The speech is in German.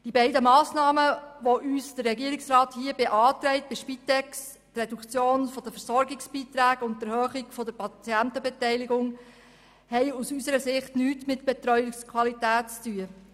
Die beiden uns vom Regierungsrat bei der Spitex beantragten Massnahmen, die Reduktion der Versorgungsbeiträge und die Erhöhung der Patientenbeteiligung, haben aus unserer Sicht nichts mit Betreuungsqualität zu tun.